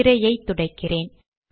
திரையை துடைக்கிறேன்